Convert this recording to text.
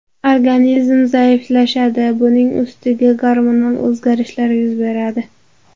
Organizm zaiflashadi, buning ustiga gormonal o‘zgarishlar yuz beradi.